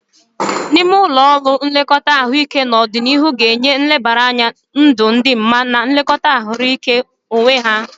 N'ime ụlọ nlekọta ahụike n'ọdịnihu ga-enye nlebara anya ndụ dị mma na nlekọta ahaziri onwe ya.